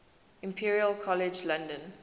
imperial college london